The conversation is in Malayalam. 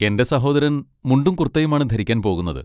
എന്റെ സഹോദരൻ മുണ്ടും കുർത്തയുമാണ് ധരിക്കാൻ പോകുന്നത്.